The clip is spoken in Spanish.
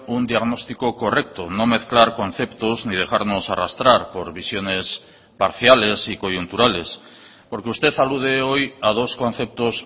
un diagnóstico correcto no mezclar conceptos ni dejarnos arrastrar por visiones parciales y coyunturales porque usted alude hoy a dos conceptos